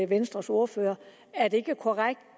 venstres ordfører er det ikke korrekt at